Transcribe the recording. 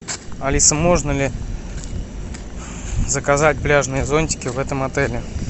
алиса можно ли заказать пляжные зонтики в этом отеле